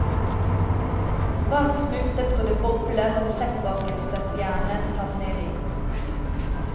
Varm smultet så det bobler når rosettbakkelsjernet tas nedi.